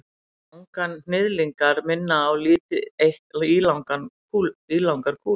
Manganhnyðlingar minna á lítið eitt ílangar kúlur.